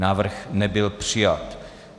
Návrh nebyl přijat.